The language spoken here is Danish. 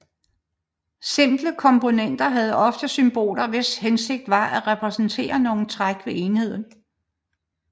Simple komponenter havde ofte symboler hvis hensigt var at repræsentere nogle træk ved enheden